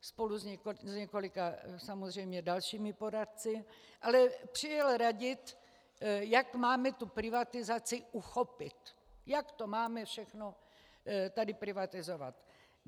spolu s několika samozřejmě dalšími poradci, ale přijel radit, jak máme tu privatizaci uchopit, jak to máme všechno tady privatizovat.